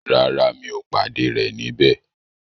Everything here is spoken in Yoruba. Rárá, mi ò pàdé rẹ̀ níbẹ̀.